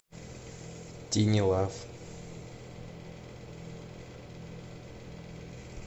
тини лав